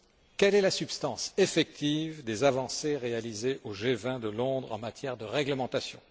Quelle est la substance effective des avancées réalisées au G20 de Londres en matière de réglementation?